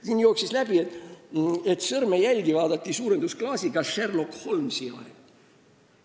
Siin jooksis läbi, et sõrmejälgi vaadati suurendusklaasiga Sherlock Holmesi ajal.